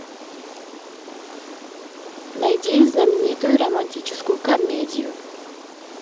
найди знаменитую романтическую комедию